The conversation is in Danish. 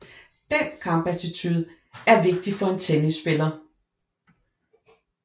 Den kampattitude er vigtig for en tennisspiller